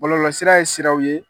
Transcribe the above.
bɔlɔlɔsira ye siraw ye.